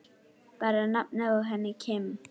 Bara nafnið á henni, Kim.